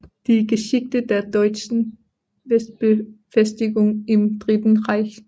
Die Geschichte der deutschen Westbefestigung im Dritten Reich